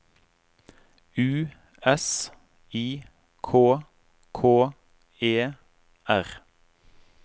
U S I K K E R